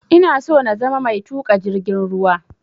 Ina so na zama mai tuƙa jirgin ruwa